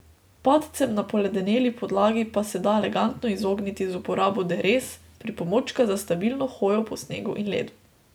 Padcem na poledeneli podlagi pa se da elegantno izogniti z uporabo derez, pripomočka za stabilno hojo po snegu in ledu.